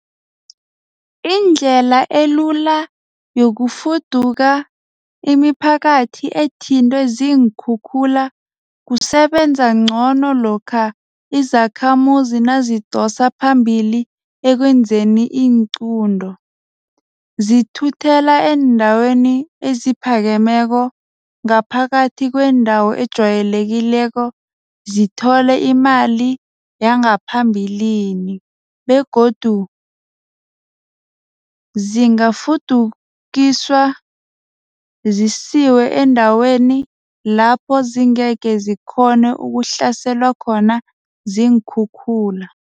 Indlela elula yokufuduka imiphakathi ethintwe ziinkhukhula kusebenza ngcono lokha izakhamuzi nazidosa phambili ekwenzeni iinqunto. Zithuthela eendaweni eziphakemeko ngaphakathi kwendawo ejwayelekileko. Zithole imali yangaphambilini begodu zingafudukiswa zisiwe endaweni lapho zingekhe zikghone ukuhlaselwa ziinkhukhula.